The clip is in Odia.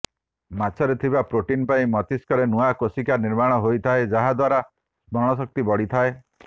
ମାଛରେ ଥିବା ପ୍ରୋଟିନ୍ ପାଇଁ ମସ୍ତିଷ୍କରେ ନୂଆ କୋଷିକା ନିର୍ମାଣ ହୋଇଥାଏ ଯାହାଦ୍ୱାରା ସ୍ମରଣଶକ୍ତି ବଢ଼ିଥାଏ